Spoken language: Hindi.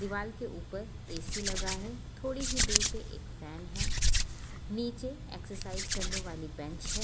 दिवाल के ऊपर ए_सी लगा है थोड़ी ही दूर पे एक फैन हैं नीचे एक्सरसाइज करने वाली बैंच हैं।